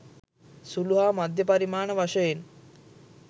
සුළු හා මධ්‍ය පරිමාණ වශයෙන්